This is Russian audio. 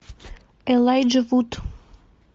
элайджа вуд